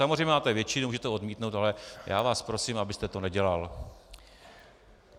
Samozřejmě máte většinu, můžete odmítnout, ale já vás prosím, abyste to nedělal.